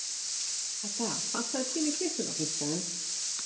Edda, pantaðu tíma í klippingu á fimmtudaginn.